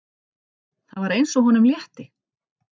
Það var eins og honum létti.